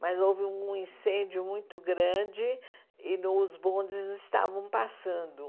Mas houve um incêndio muito grande e os bondes estavam passando.